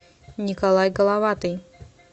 николай головатый